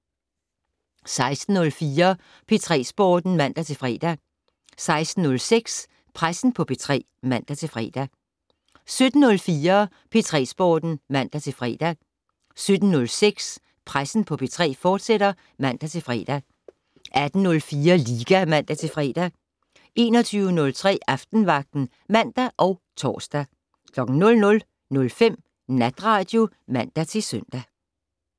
16:04: P3 Sporten (man-fre) 16:06: Pressen på P3 (man-fre) 17:04: P3 Sporten (man-fre) 17:06: Pressen på P3, fortsat (man-fre) 18:04: Liga (man-fre) 21:03: Aftenvagten (man og tor) 00:05: Natradio (man-søn)